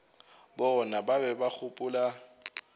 bona ba be ba gopola